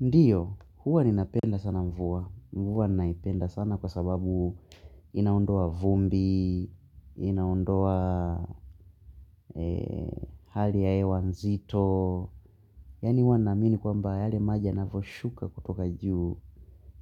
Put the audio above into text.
Ndiyo huwa ninapenda sana mvua mvua naipenda sana kwa sababu inaondoa vumbi inaondoa hali ya hewa nzito. Yaani huwa naamini kwamba yale maji yanaposhuka kutoka juu